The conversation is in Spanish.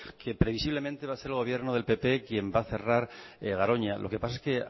que previsiblemente va a ser el gobierno del pp quien va a cerrar garoña lo que pasa es que